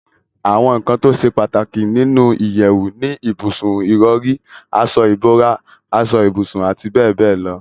àwọn ǹkan tó ṣe pàtàkì nínu ìyẹ̀wù ni ibùsùn, ìrọ̀rí, aṣọ ìbora, aṣọ ibùsùn àti bẹ́ẹ̀bẹ́ẹ̀ lọ